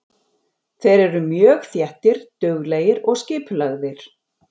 Þeir eru mjög þéttir, duglegir og skipulagðir.